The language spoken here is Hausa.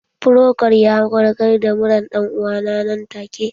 Frokol ya warkar da muran ɗan uwana nan take